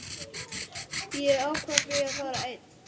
Ég ákvað því að fara einn.